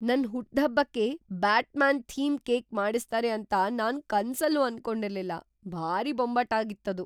ನನ್ ಹುಟ್ದ್‌ಹಬ್ಬಕ್ಕೆ Batman theme cake ಮಾಡಿಸ್ತಾರೆ ಅಂತ ನಾನ್ ಕನ್ಸಲ್ಲೂ ಅನ್ಕೊಂಡಿರ್ಲಿಲ್ಲ, ಭಾರೀ ಬೊಂಬಾಟಾಗಿತ್ತದು!